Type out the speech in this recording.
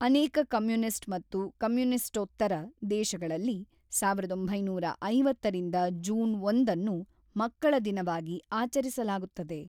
ಅನೇಕ ಕಮ್ಯುನಿಸ್ಟ್ ಮತ್ತು ಕಮ್ಯುನಿಸ್ಟೋತ್ತರ ದೇಶಗಳಲ್ಲಿ ಸಾವಿರದ ಒಂಬೈನೂರ ಐವತ್ತರಿಂದ ಜೂನ್ ಒಂದನ್ನು ಮಕ್ಕಳ ದಿನವಾಗಿ ಆಚರಿಸಲಾಗುತ್ತದೆ.